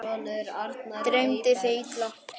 Dreymdi þig illa?